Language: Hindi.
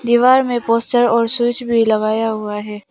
दीवार में पोस्टर और स्विच भी लगाया हुआ है।